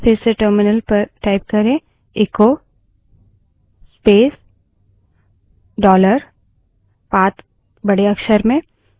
फिर से terminal पर echo space dollar path echo space dollar path बड़े अक्षर में type करें